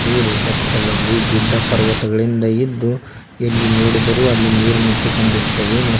ಈ ರೇಖಾ ಚಿತ್ರದಲ್ಲಿ ಗುಡ್ಡ ಪರ್ವತಗಳಿಂದ ಇದ್ದು ಎಲ್ಲಿ ನೋಡಿದರೂ ಅಲ್ಲಿ ನೀರು ನಿಂತುಕೊಂಡಿರುತ್ತವೆ ಮ--